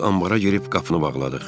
Biz ambara gedib qapını bağladıq.